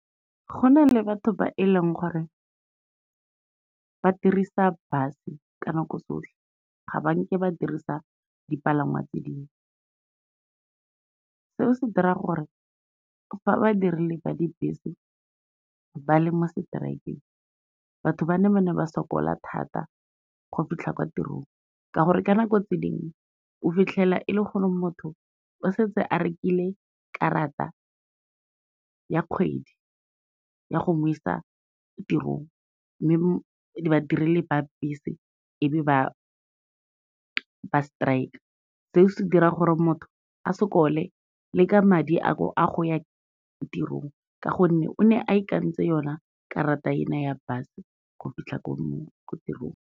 Go na le batho ba e leng gore ba dirisa bus-e ka nako tsotlhe, ga ba nke ba dirisa dipalangwa tse dingwe. Seo se dira gore fa ba dirile ba dibese ba le mo strikeng, batho ba ne ba ne ba sokola thata go fitlha kwa tirong ka gore ka nako tse dingwe o fitlhela e le gore motho o setse a rekile karata ya kgwedi ya go mo isa tirong, mme ba direli ba bese e be ba strike-a, se se dira gore motho a sokole le ka madi a go ya tirong ka gonne o ne a itekanetse yona karata ena ya bus go fitlha ko tirong.